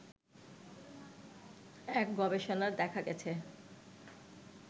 এক গবেষনায় দেখা গেছে